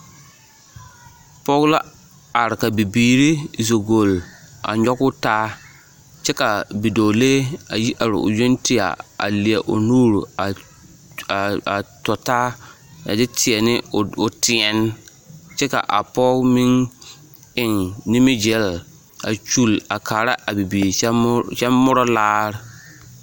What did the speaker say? Pɔge la are ka bibiiri zo golli a nyɔgoo taa kyɛ ka bidɔɔlee a yi are o yoŋ tɛgɛ a leɛ o nuuri a tɔ taa a nyɛ teɛ o teɛne kyɛ ka a pɔge meŋ eŋ nimigilli a kyuli a kaara a birii kyɛ morɔ laare.